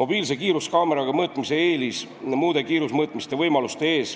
Mobiilse kiiruskaameraga mõõtmise eelis muude kiirusemõõtmiste võimaluste ees